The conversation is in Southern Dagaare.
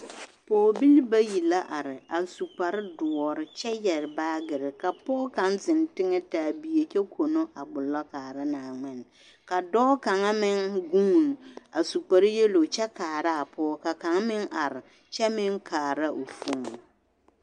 Pɔɔbilii bayi la are a su kpare doɔre kyɛ yɛre baagiri ka pɔge kaŋ zeŋ teŋɛ taa bie kyɛ kono a gbolo kaara naaŋmene ka dɔɔ kaŋa meŋ guuni a su kpare yelo kyɛ kaara a pɔge ka kaŋa meŋ are kyɛ meŋ kaara o fon.